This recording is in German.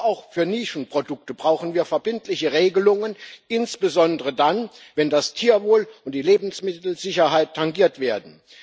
Doch auch für Nischenprodukte brauchen wir verbindliche Regelungen, insbesondere dann, wenn das Tierwohl und die Lebensmittelsicherheit tangiert werden.